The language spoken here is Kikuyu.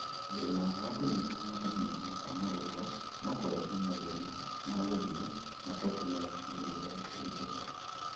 Thĩna wa kũnyiha na kũneneha kwa marũngo no kũrehe mathĩna ma gũthiĩ na gũtũme mĩthiĩre ĩritũhe